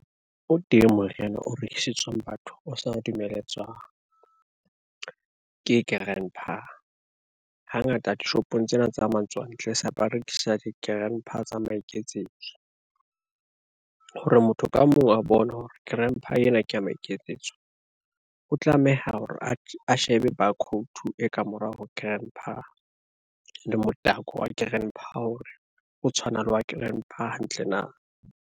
O teng moriana o rekisetswang batho o sa dumeletswang, ke Grand-pa hangata dishopong tsena tsa matswantle se ba rekisa di-Grand-pa tsa maiketsetso. Hore motho ka mong a bone hore Grand-pa ena ke ya maiketsetso, o tlameha hore a shebe bakhouto e kamorao ho Grand-pa le motako wa Grand-pa hore o tshwana le wa Grand-pa hantle na.